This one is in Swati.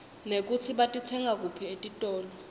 nekutsi batitsenga kuphi etitolo